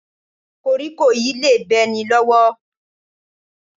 Kóríkó yìí le bẹ́ ni lọ́wọ́